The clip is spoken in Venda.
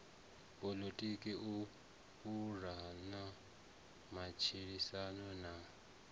poḽotiki u pulana matshilisano na